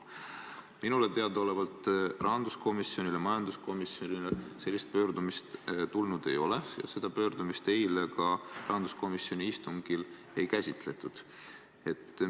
" Minule teadaolevalt rahanduskomisjonile ja majanduskomisjonile sellist pöördumist tulnud ei ole, seda ka eile rahanduskomisjoni istungil ei käsitletud.